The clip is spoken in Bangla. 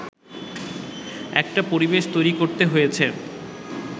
একটা পরিবেশ তৈরি করতে হয়েছে